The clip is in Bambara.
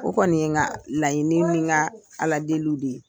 O kɔni ye n ka laɲini ni n ka ala deliw de ye.